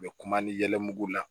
U bɛ kuma ni yɛlɛmugu la